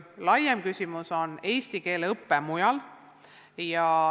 Laiem küsimus on aga eesti keele õpe mujal.